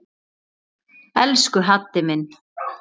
Elsku Haddi minn.